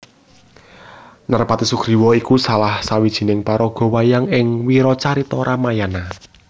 Narpati Sugriwa iku salah sawijining paraga wayang ing wiracarita Ramayana